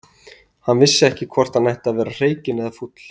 Hann vissi ekki hvort hann ætti að vera hreykinn eða fúll.